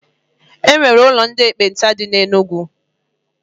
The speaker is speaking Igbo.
E nwere ụlọ ndị ekpenta dị na Enugu.